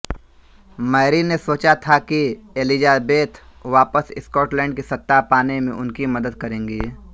Mary ने सोचा था कि एलिज़ाबेथ वापस स्कॉटलैंड की सत्ता पाने में उनकी मदद करेंगी